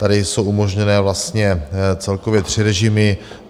Tady jsou umožněné vlastně celkově tři režimy.